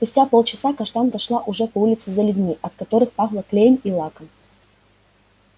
спустя полчаса каштанка шла уже по улице за людьми от которых пахло клеем и лаком